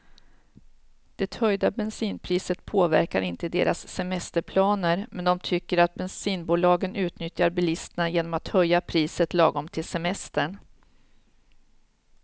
Det höjda bensinpriset påverkar inte deras semesterplaner, men de tycker att bensinbolagen utnyttjar bilisterna genom att höja priset lagom till semestern.